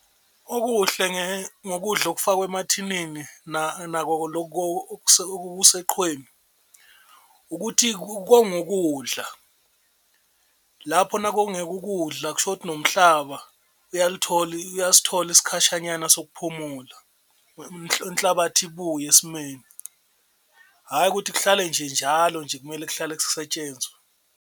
Okuhle ngokudla okufakwa emathinini nakho loku okuseqhweni ukuthi konga ukudla lapho. Nakungeko ukudla kusho ukuthi nomhlaba uyasithola isikhashanyana sokuphumula inhlabathi ibuye esimeni. Hhayi ukuthi kuhlale nje njalo nje kumele kuhlale kusetshenzwa.